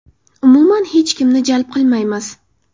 Umuman, hech kimni jalb qilmaymiz.